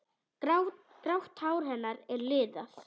Grátt hár hennar er liðað.